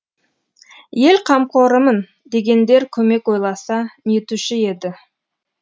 ел қамқорымын дегендер көмек ойласа нетуші еді